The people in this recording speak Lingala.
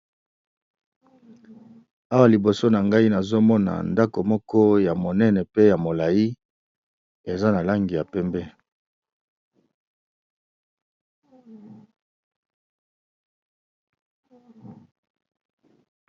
Awa liboso na ngai nazomona ndako moko ya monene pe ya molai eza na langi ya pembe.